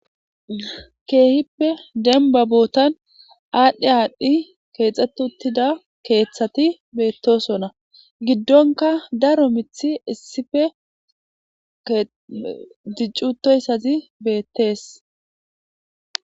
keehippe denba bootan aadhdhe aadhdhi keexxet uttida keeththati beettosona giddonka daro mithi issife dicutoyssazi beettees